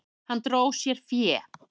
Hann dró sér fé.